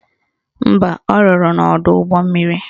Mba, ọ rụrụ n'ọdọụgbọmmiri